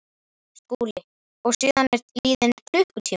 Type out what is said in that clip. SKÚLI: Og síðan er liðinn klukkutími?